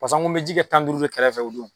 Pasa ŋo me ji kɛ tan duuru de kɛrɛfɛ o don